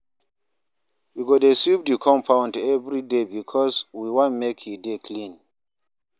We go dey sweep di compound everyday because we wan make e dey clean.